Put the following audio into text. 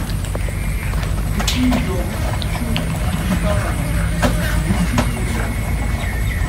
купи йогурт чудо шоколадный двести миллиграмм